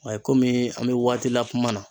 A ye komi an bɛ waati la kuma na.